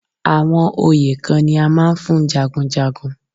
Àwọn oyè kan ni a máa ń fún jagunjagun.